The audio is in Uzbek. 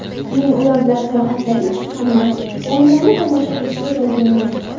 Men ular bilan sayohatlarga chiqqanman, o‘yinlarni tomosha qilishga borganman.